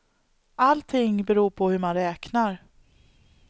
Allting beror på hur man räknar.